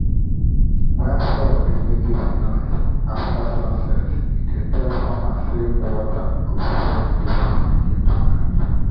when frog dey make heavy noise after sun set e dey tell farmers say water go full the farm again tonight.